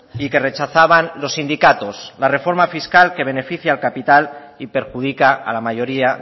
y que rechazaban los sindicatos la reforma fiscal que beneficia al capital y perjudica a la mayoría